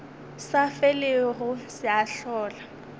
sa felego se a hlola